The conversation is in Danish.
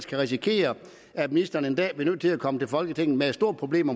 kan risikere at ministeren en dag bliver nødt til at komme til folketinget med et stort problem